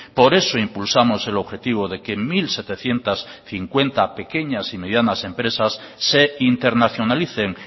por eso impulsamos el objetivo de que mil setecientos cincuenta pequeñas y medianas empresas se internacionalicen